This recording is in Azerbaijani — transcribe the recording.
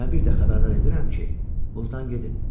Və bir də xəbərdar edirəm ki, burdan gedin.